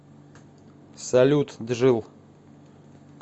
салют джилл